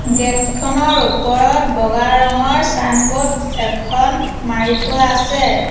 Gate খনৰ ওপৰত বগা ৰঙৰ ছাইনবোৰ্ড এখন মাৰি থোৱা আছে।